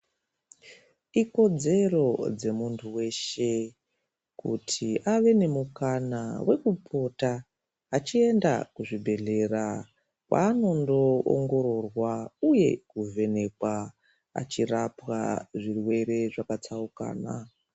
Ikodzero dzemuntu weshe kuti ave nemukana wekupota achienda kuzvibhedhlera kwanondoongororwa uye kuvhenekwa achirapwa zvirwere zvakatsaukana.